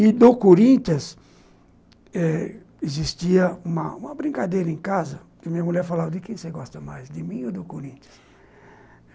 E do Corinthians eh existia uma uma brincadeira em casa, que minha mulher falava, de quem você gosta mais, de mim ou do Corinthians?